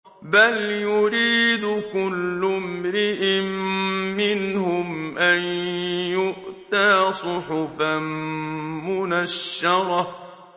بَلْ يُرِيدُ كُلُّ امْرِئٍ مِّنْهُمْ أَن يُؤْتَىٰ صُحُفًا مُّنَشَّرَةً